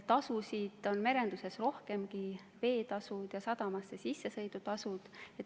Tasusid on merenduses rohkemgi, veeteetasud ja sadamasse sissesõidu tasud.